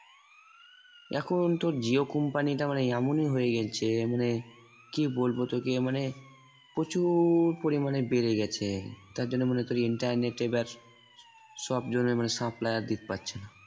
এখন তো jio company টা মানে এমনই হয়ে গেলছে মানে কি বলবো তোকে মানে প্রচুর পরিমাণে বেড়ে গেছে তার জন্য মানে তোর internet এ সব জনে মানে supply আর পাচ্ছে না।